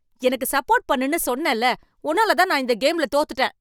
எனக்கு சப்போர்ட் பண்ணுன்னு சொன்னேன்ல! உன்னாலதான் நான் இந்த கேம்ல தோத்துட்டேன்.